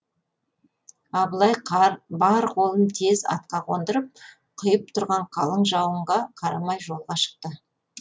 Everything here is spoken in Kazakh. абылай бар қолын тез атқа қондырып құйып тұрған қалың жауынға қарамай жолға шықты